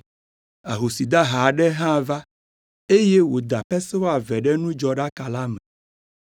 Ahosi dahe aɖe hã va, eye wòda pesewa eve ɖe nudzɔɖaka la me.